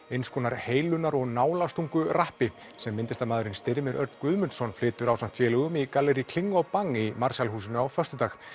eins konar heilunar og sem myndlistarmaðurinn Styrmir Örn Guðmundsson flytur ásamt félögum í kling og Bang í Marshall húsinu á föstudag